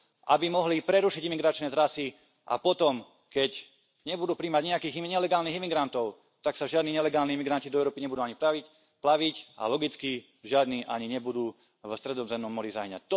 aby mohli prerušiť imigračné trasy, a potom, keď nebudú prijímať nijakých nelegálnych imigrantov, tak sa žiadni nelegálni imigranti nebudú ani do Európy plaviť a logicky žiadni ani nebudú v Stredozemnom mori hynúť.